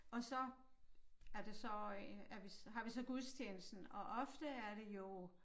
Og så er det så øh en at har vi så gudstjenesten og ofte er det jo